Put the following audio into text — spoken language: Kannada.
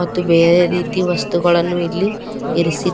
ಮತ್ತು ಬೇರೆ ರೀತಿಯ ವಸ್ತುಗಳನ್ನು ಇಲ್ಲಿ ಇರಿಸಿ--